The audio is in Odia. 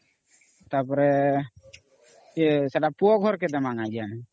ତା ପରେ ସେଟା ପୁଅ ଘରକେ ଦିମା